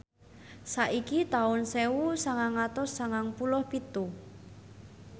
saiki taun sewu sangang atus sangang puluh pitu